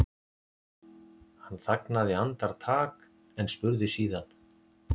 Hann þagnaði andartak en spurði síðan